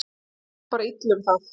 Tölum við bara illa um það?